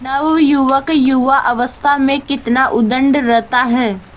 नवयुवक युवावस्था में कितना उद्दंड रहता है